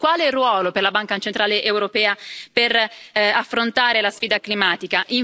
E in più, quale ruolo per la Banca centrale europea per affrontare la sfida climatica?